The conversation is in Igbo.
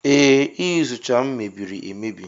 Ee, Iyuzucha m mebiri emebi.